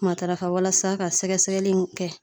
Matarafa walasa ka sɛgɛsɛgɛli in kɛ